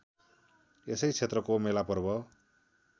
यसै क्षेत्रको मेलापर्व